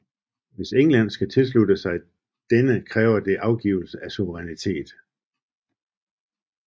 Hvis Danmark skal tilslutte sig denne kræver det afgivelse af suverænitet